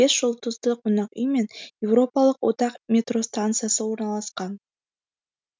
бес жұлдызды қонақ үй мен еуропалық одақ метро станциясы орналасқан